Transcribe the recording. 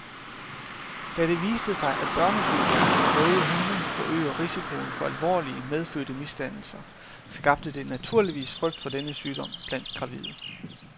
Da det viste sig, at børnesygdommen røde hunde forøger risikoen for alvorlige medfødte misdannelser, skabte det naturligvis frygt for denne sygdom blandt gravide.